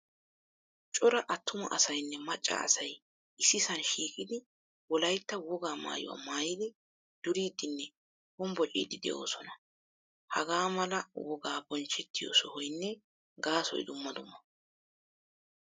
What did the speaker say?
Cora attuma asaynne macca asay issisan shiiqidi wolaytta wogaa maayuwaa maayidi duridinne hombocidi deosona. Hagamal wogay bonchchetiyo sohoynne gaasoy dumma dumma.